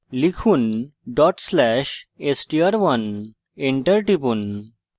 লিখুন/str1 dot slash str1 enter টিপুন